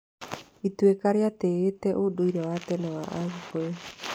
Ituĩka rĩatĩĩte ũndũire wa tene wa a Gĩkũyũ.